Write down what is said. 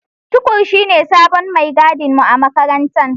Tukur shine sabon mai gadin mu a makarantar.